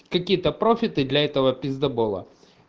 какие-то профиты для этого пиздабола